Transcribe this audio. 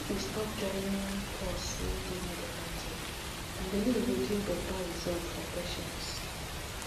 make we stop joinin pause wey dey medical care and belief go give beta result for patients